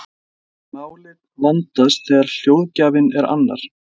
Málið vandast þegar hljóðgjafinn er annar.